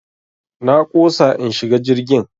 Na ƙosa in shiga jirgin.